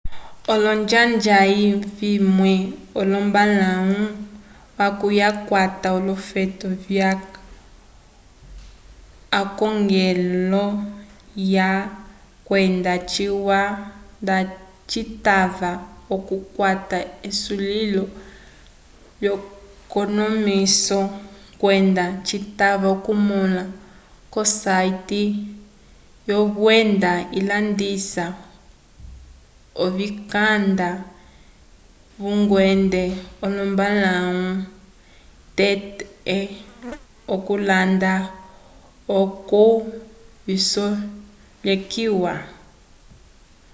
olonjanja vimwe ombalãwu yaco ikwata olofeto vyalwa k'akongelo alwa kwenda ciwa nda citava okukwata esulilo lyekonomiso kwenda citava okumõla ko site lyovenda ilandisa ovikanda vyngende wombalãwu tete okulanda oco visolekiwe